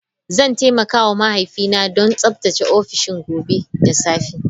Zan taimaka wa mahaifiyata don tsaftace Ofishin gobe da safe.